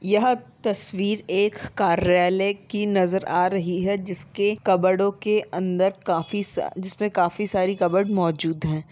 यह तस्वीर एक कार्यालय की नज़र आ रही है जिसके कबरडो के अंदर काफी सा जिसमे काफी सारी कबोर्ड मौजूद हैं।